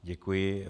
Děkuji.